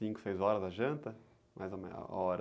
Cinco, seis horas a janta? Mais ou menos a hora.